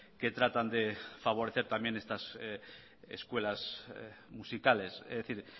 que tratan de favorecer también estas escuelas musicales es decir